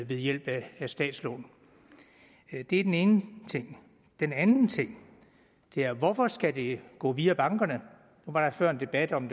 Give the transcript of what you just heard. ved hjælp af statslån det er den ene ting den anden ting er hvorfor skal det gå via bankerne nu var der før en debat om